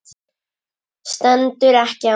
Stendur ekki á mér.